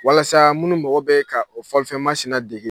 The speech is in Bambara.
Walasa minnu mɔgɔ bɛ ka o fɔlifɛn masinɛ dege